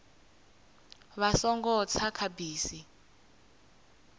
vha songo tsa kha bisi